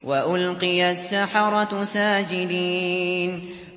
وَأُلْقِيَ السَّحَرَةُ سَاجِدِينَ